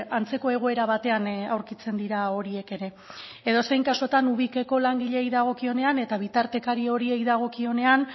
antzeko egoera batean aurkitzen dira horiek ere edozein kasutan ubikeko langileei dagokionean eta bitartekari horiei dagokionean